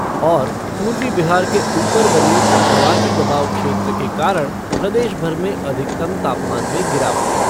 और, पूर्वी बिहार के ऊपर बने चक्रवाती दबाव क्षेत्र के कारण प्रदेश भर में अधिकतम तापमान में गिरावट